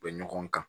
Bɛ ɲɔgɔn kan